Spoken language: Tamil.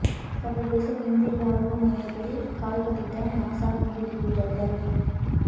சர்வதேச விண்வெளி ஆய்வு மையத்தில் கால் பதித்த நாசா விண்வெளி வீரர்கள்